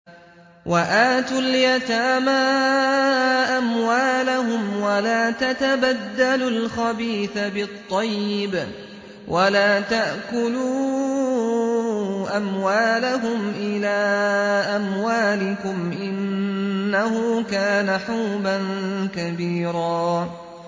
وَآتُوا الْيَتَامَىٰ أَمْوَالَهُمْ ۖ وَلَا تَتَبَدَّلُوا الْخَبِيثَ بِالطَّيِّبِ ۖ وَلَا تَأْكُلُوا أَمْوَالَهُمْ إِلَىٰ أَمْوَالِكُمْ ۚ إِنَّهُ كَانَ حُوبًا كَبِيرًا